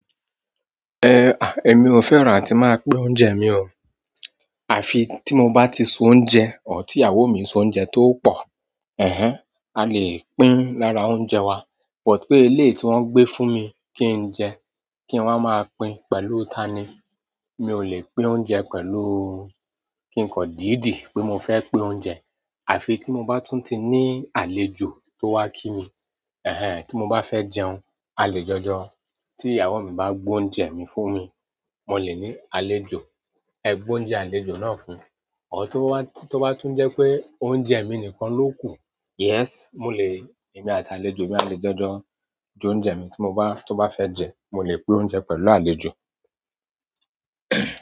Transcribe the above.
Eh, èmi ò fẹ́ràn atí máa ń pín oúnjẹ mi o. Àfi tí mo bá ti se oúnjẹ, ọ́r tí ìyàwó mi se oúnjẹ tó pọ̀. Ehen a le pín lára oúnjẹ wa but pé eléyi tí wọ́n ń gbé fún mi kí n jẹ, kí n wá máa pín pẹ̀lú tani? Mi ò lè pín oúnjẹ pẹ̀lú. Kí n kọ̀ díìdí pé mo fẹ́ pín oúnjẹ. Àfi tí mo bá tún ti ní àlejò tó wá kí mi. Eh, tí mo bá fẹ́ jẹun, a lè jọjọ. Tí ìyàwó mi bá gbé oúnjẹ mi fún mi, mo lè ní àlejò, ẹ gbé oúnjẹ àlejò náà fún un. Or tó bá tún jẹ́ pé oúnjẹ mi nìkan ló kù, yes, mo lè, èmi àti àlejò mi a lè jọjọ jẹ oúnjẹ mi tí mo bá, tó bá fẹ́ jẹ, mo lè pín oúnjẹ pẹ̀lú àlejò.